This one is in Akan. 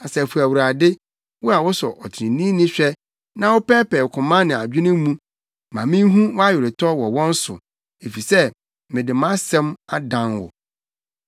Asafo Awurade! Wo a wosɔ ɔtreneeni hwɛ na wopɛɛpɛɛ koma ne adwene mu, ma minhu wʼaweretɔ wɔ wɔn so, efisɛ mede mʼasɛm dan wo.